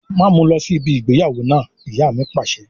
Máa mu lọ sí ibi ìgbéyàwó náà! Ìyá mi Pàṣẹ.